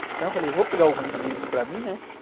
Então eu falei, vou pegar alguns livros para mim, né?